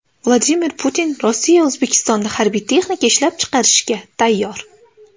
Vladimir Putin: Rossiya O‘zbekistonda harbiy texnika ishlab chiqarishga tayyor.